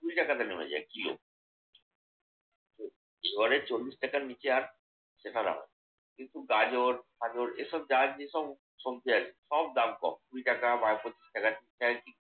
কুড়ি টাকাতে নেমে যায় কিলো। এবারে চল্লিশ টাকার নিচে আর না। কিন্তু গাজর ফাজর এসব যা আছে সব সবজি আরকি সব দাম কম। কুড়ি টাকা বা সত্তর টাকা।